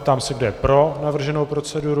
Ptám se, kdo je pro navrženou proceduru.